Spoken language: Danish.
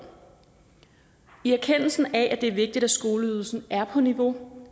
i erkendelsen af at det er vigtigt at skoleydelsen er på niveau